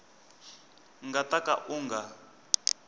nga ta ka u nga